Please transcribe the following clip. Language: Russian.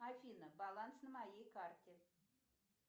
афина баланс на моей карте